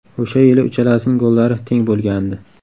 O‘sha yili uchalasining gollari teng bo‘lgandi.